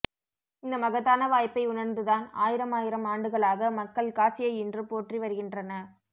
இந்த மகத்தான வாய்ப்பை உணர்ந்துதான் ஆயிரமாயிரம் ஆண்டுகளாக மக்கள் காசியை இன்றும் போற்றி வருகின்றன